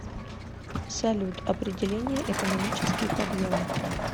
салют определение экономический подъем